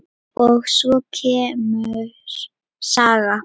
Og svo kemur saga